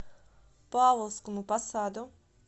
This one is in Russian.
павловскому посаду